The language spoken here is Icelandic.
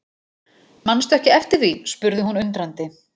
Mannstu ekki eftir því spurði hún undrandi.